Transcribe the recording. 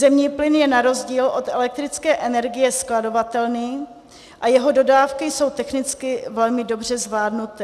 Zemní plyn je na rozdíl od elektrické energie skladovatelný a jeho dodávky jsou technicky velmi dobře zvládnuté.